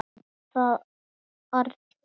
Svo var það Arnþór.